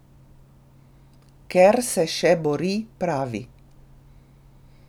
Ker se še bori, pravi.